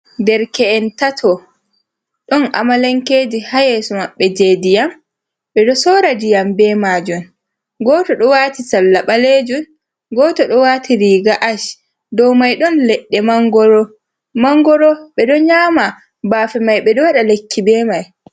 Derke'en tato ɗon amalankeji ha yeso maɓɓe je ndiyam ɓeɗo sora ndiyam be majun. Goto ɗo wati salla ɓalejun, goto ɗo wati riga ash, dow mai ɗon leɗɗe mangoro, mangoro be ɗon nyama bafe mai ɓeɗo waɗa lekki be mai.